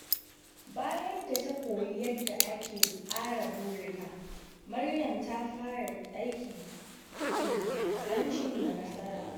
Bayan da ta koyi yadda ake tsara burika, Maryam ta fara aiki tuƙuru don cimma nasara.